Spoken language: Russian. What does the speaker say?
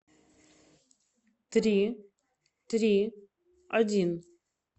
три три один